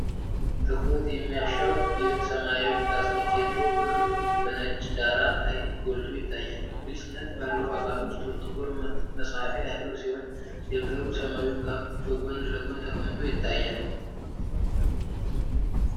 ትኩረት የሚያሻው ይህ ሰማያዊ ፕላስቲክ የድሮ ብዕር በነጭ ዳራ ላይ ጎልቶ ይታያል። ግልጽነት ባለው አካል ውስጥ ጥቁር መጻፊያ ያለው ሲሆን፣ የብዕሩ ሰማያዊ ካፕ በጎን ለጎን ተቀምጦ ይታያል።